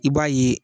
I b'a ye